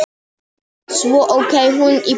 Svo ók hún í burtu.